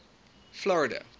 florida